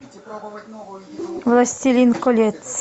властелин колец